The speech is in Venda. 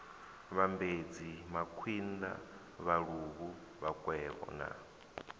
vhambedzi makwinda vhaluvhu vhakwevho na